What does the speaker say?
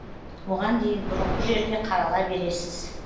оған дейін бұрынғы жерде қарала бересіз